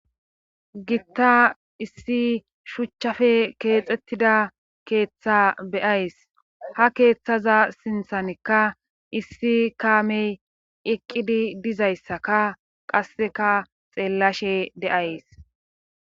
Gitta issi shuchchafe keexettida keeththa beyays ha keeththaza sinthanikka issi kaamey eqqidi dizayssaka qasseka xeellashe deays